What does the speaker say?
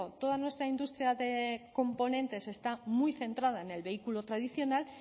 toda nuestra industria de componentes está muy centrada en el vehículo tradicional